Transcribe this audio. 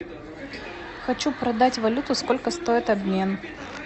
хочу продать валюту сколько стоит обмен